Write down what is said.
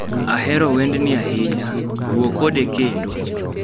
Ahero wendni ahinya. Wuo kode kendo.